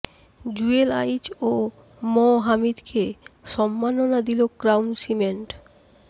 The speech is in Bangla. জুয়েল আইচ ও ম হামিদকে সম্মাননা দিল ক্রাউন সিমেন্ট